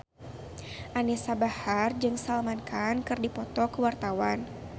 Anisa Bahar jeung Salman Khan keur dipoto ku wartawan